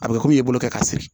A bɛ kɛ komi i bolo kɛ ka siri